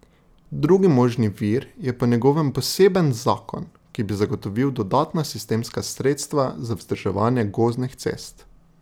Drugi možni vir je po njegovem poseben zakon, ki bi zagotovil dodatna sistemska sredstva za vzdrževanje gozdnih cest.